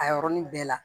A yɔrɔnin bɛɛ la